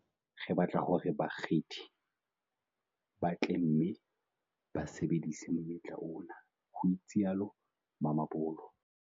"Re batla hore bakgethi ba tle mme ba sebedise monyetla ona," ho itsalo Mamabolo.